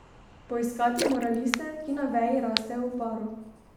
Poiskati mora liste, ki na veji rastejo v paru.